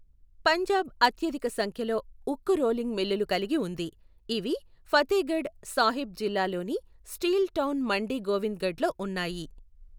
పంజాబ్ అత్యధిక సంఖ్యలో ఉక్కు రోలింగ్ మిల్లులు కలిగి ఉంది, ఇవి ఫతేగఢ్ సాహిబ్ జిల్లాలోని స్టీల్ టౌన్ మండీ గోవింద్గఢ్లో ఉన్నాయి.